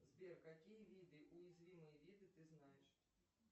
сбер какие виды уязвимые виды ты знаешь